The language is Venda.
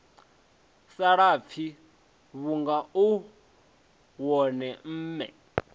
salafhi vhunga u wone mme